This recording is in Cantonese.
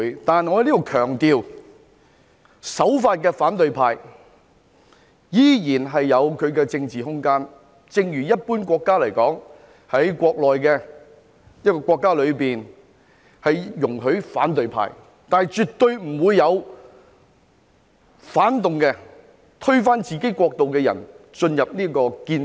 但我要在此強調，守法的反對派依然有其政治空間，正如一般國家的情況，一個國家內會容許反對派存在，但絕對不會有反動、推翻自己國家的人進入建制。